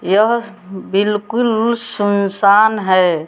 यह बिल्कुल सुनसान है।